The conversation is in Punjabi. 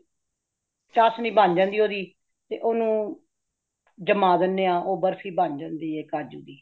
ਚਾਸ਼ਨੀ ਬਣ ਜਾਂਦੀ ਹੇ ਓਦੀ ,ਤੇ ਓਨੁ ਜਮਾ ਦੇਂਦੇ ਹਾ ਤੇ ਬਰਫ਼ੀ ਬਣ ਜਾਂਦੀ ਹੈ ਕਾਜੁ ਦੀ